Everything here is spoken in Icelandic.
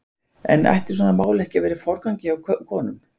En ætti svona mál ekki að vera í forgangi hjá konum?